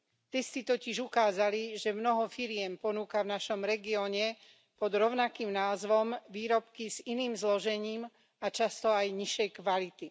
Testy totiž ukázali, že mnoho firiem ponúka v našom regióne pod rovnakým názvom výrobky s iným zložením a často aj nižšej kvality.